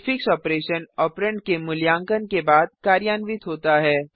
prefix operation operand के मूल्यांकन के बाद कार्यान्वित होता है